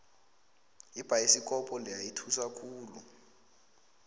ibhayisikobho leya ithusa khulu